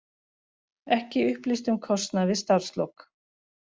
Ekki upplýst um kostnað við starfslok